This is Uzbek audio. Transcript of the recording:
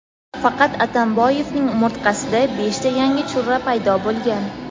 faqat Atamboyevning umurtqasida beshta yangi churra paydo bo‘lgan.